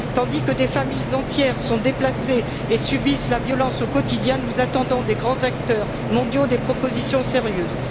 Tandis que des familles entières sont déplacées et subissent la violence au quotidien, nous attendons des grands acteurs mondiaux des propositions sérieuses.